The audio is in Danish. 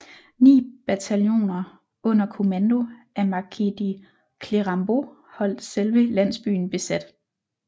Ni bataljoner under kommando af marquis de Clérambault holdt selve landsbyen besat